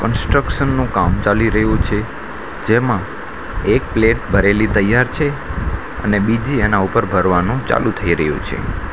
કન્સ્ટ્રક્શનનું કામ ચાલી રહ્યું છે જેમાં એક પ્લેટ ભરેલી તૈયાર છે અને બીજી એના ઉપર ભરવાનું ચાલુ થઈ રહ્યું છે.